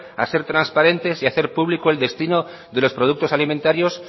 a ser transparentes y hacer público el destino de los productos alimentarios